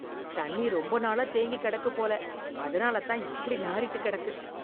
தண்ணி ரொம்ப நாளா தேங்கி கிடக்கு போல அதனாலதான் இப்படி நாறிட்டு கிடக்கு.